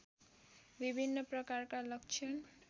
विभिन्न प्रकारका लक्षण